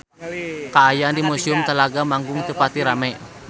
Kaayaan di Museum Telaga Manggung teu pati rame